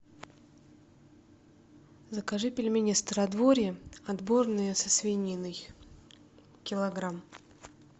закажи пельмени стародворье отборные со свининой килограмм